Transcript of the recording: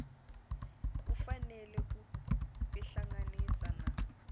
u fanele ku tihlanganisa na